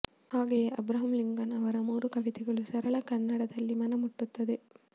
ಹಾಗೆಯೇ Abraham Lincoln ಅವರ ಮೂರು ಕವಿತೆಗಳು ಸರಳ ಕನ್ನಡದಲ್ಲಿ ಮನ ಮುಟ್ಟುತ್ತದೆ